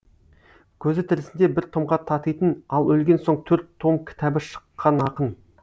көзі тірісінде бір томға татитын ал өлген соң төрт том кітабы шыққан ақын